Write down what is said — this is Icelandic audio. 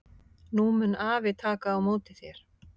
Nú mun afi taka á móti þér.